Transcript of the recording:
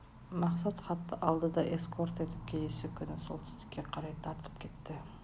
мақсат хатты алды да эскорт ертіп келесі күні солтүстікке қарай тартып кетті